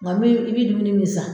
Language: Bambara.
Nga min i bɛ dumuni min san